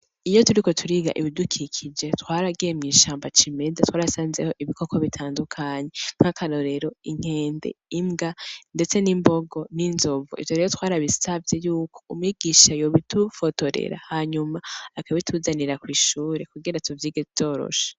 Iyo turiko turiga ibidukikije twaragiye mw'ishamba cimeza twarasanzeyo ibikoko bitandukanye nka karorero inkende, imbwa ndetse n'imbogo n'inzovu ivyo rero twarabisavye yuko umwigisha yobidufotorera akabituzanira kwishure kugira tuvyige vyoroshe .